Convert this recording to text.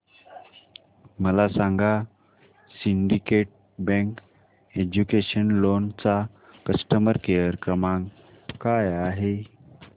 मला सांगा Syndicate Bank educational loan चा कस्टमर केअर क्रमांक काय आहे